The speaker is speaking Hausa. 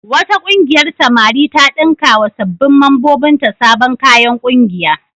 Wata ƙungiyar samari ta ɗinkawa sabbin mambobinta sabon kayan ƙungiya.